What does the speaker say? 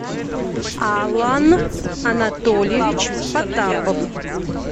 алан анатольевич потапов